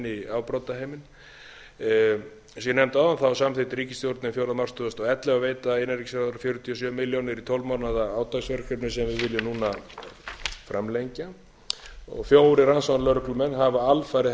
inn í afbrotaheiminn eins og ég nefndi áðan samþykkti ríkisstjórnin fjórða mars tvö þúsund og ellefu að veita innanríkisráðherra fjörutíu og sjö milljónir í tólf mánaða átaksverkefni sem við viljum núna framlengja fjórir rannsóknarlögreglumenn hafa alfarið